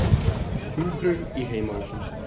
Hjúkrun í heimahúsum.